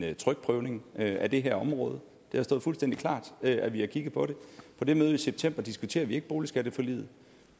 en trykprøvning af det her område det har stået fuldstændig klart at vi har kigget på det på det møde i september diskuterede vi ikke boligskatteforliget